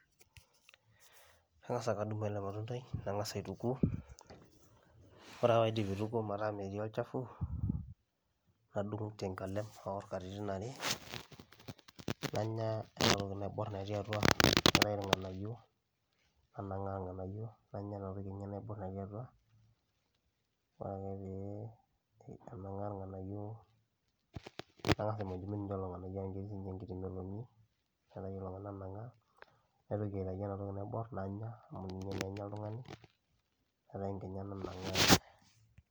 Kang'asa aka adung' ele matundai, nang'asa aituku. Ore ake paidip aituku metaa metii olchafu, nadung' tenkalem aor katitin are, nanya enatoki naibor natii atua, naitayu irng'anayio, nanang'aa irng'anayio, nanya inatoki enye naibor natii atua, ore ake pee anang'aa irng'anayio, nang'asa aimujmuj ninye lelo ng'anayio amu ketii sinche enkiti meloni, naitayu lelo nanang'aa, naitoki aitayu enatoki naibor, nanya, amu ninye naa enya oltung'ani, naitayu nkinyat nanang'aa nanya.